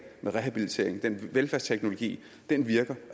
med rehabilitering og velfærdsteknologi virker